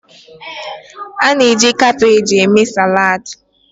A na-eji kabeeji eme saladi.